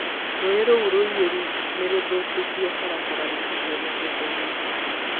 Rũũĩ rũu rũiyũru nĩ rũthũkĩtie barabara na irio mĩgũnda-inĩ